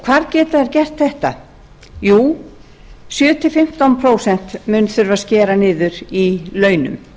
hvar geta þær gert þetta jú sjö til fimmtán prósent mun þurfa að skera niður í launum